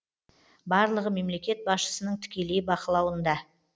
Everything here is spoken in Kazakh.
барлығы мемлекет басшысының тікелей бақылауында